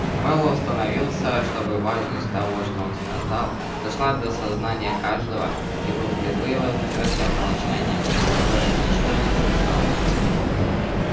мэллоу остановился чтобы важность того что он сказал дошла до сознания каждого и был впервые вознаграждён молчанием которое ничто не нарушало